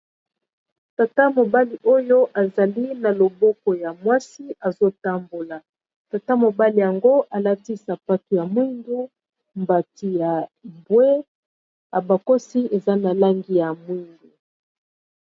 tata mobali oyo azali na loboko ya mwasi azotambola tata mobali yango alati sapato ya moindo na mbati ya bwe , abakosi eza na langi ya mwingu